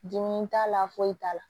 Dimi t'a la foyi t'a la